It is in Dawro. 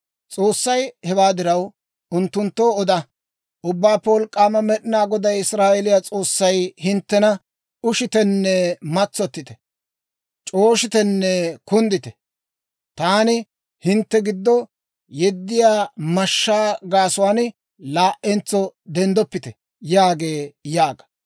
S'oossay; «Hewaa diraw, unttunttoo oda; ‹Ubbaappe Wolk'k'aama Med'inaa Goday, Israa'eeliyaa S'oossay hinttena, «Ushitenne matsottite. C'ooshitenne kunddite. Taani hintte giddo yeddiyaa mashshaa gaasuwaan laa"entso denddoppite» yaagee› yaaga.